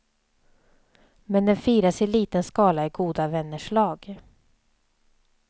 Men den firas i liten skala i goda vänners lag.